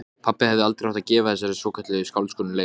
Rafmagnseftirlitið tók við þremur jarðborum af